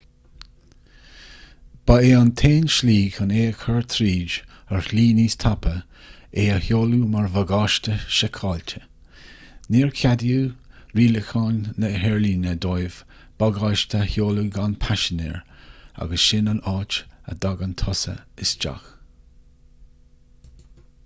ba é an t-aon slí chun é a chur tríd ar shlí níos tapa é a sheoladh mar bhagáiste seiceáilte ní cheadóidh rialacháin na haerlíne dóibh bagáiste a sheoladh gan paisinéir agus sin an áit a dtagann tusa isteach